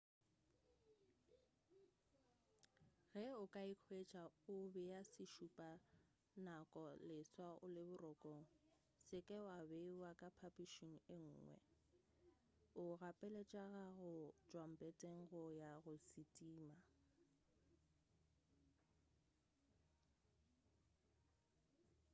ge o ikwetša o bea sešupa nako leswa o le borokong se ka beiwa ka phapušing yenngwe o gapeletšega go tšwa mpeteng go ya go se thima